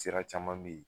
Sira caman be ye